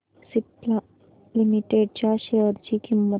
Cipla limited च्या share ची किंमत